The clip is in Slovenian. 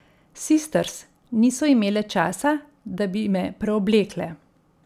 Sisters niso imele časa, da bi me preoblekle.